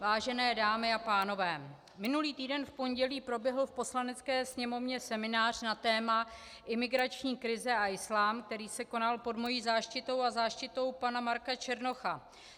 Vážené dámy a pánové, minulý týden v pondělí proběhl v Poslanecké sněmovně seminář na téma Imigrační krize a islám, který se konal pod mou záštitou a záštitou pana Marka Černocha.